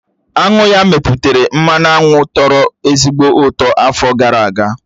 Aṅụ ya mepụtara mmanụ aṅụ tọ̀rọ̀ ezigbo ụtọ afọ gara aga